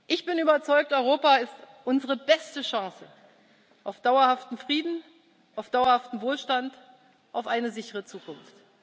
kann. Ich bin überzeugt Europa ist unsere beste Chance auf dauerhaften Frieden, auf dauerhaften Wohlstand, auf eine sichere Zukunft.